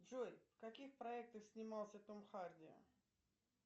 джой в каких проектах снимался том харди